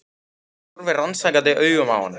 Hún horfir rannsakandi augum á hana.